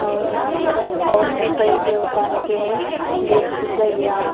और यहाँ पर और भी कई देवताओं के हैं जैसे कि गैया--